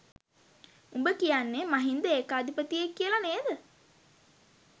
උඹ කියන්නේ මහින්ද ඒකාධිපතියෙක් කියලා නේද?